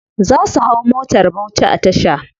Za su hau motar bauchi a tasha.